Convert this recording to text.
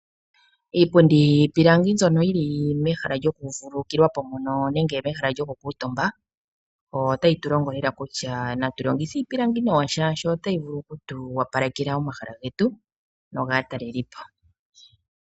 Iipundi yiipilangi mbyono yi li mehala lyokuvululukilwa po mono nenge mehala lyokukuutumba otayi tu longo lela kutya natu longithe iipilangi nawa shaashi otayi vulu oku tu opalekela omahala getu nogaatalelipo.